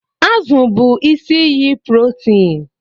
Azụ bụ isi iyi protein